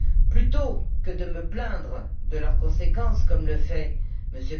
Plutôt que de me plaindre de leurs conséquences, comme le fait M.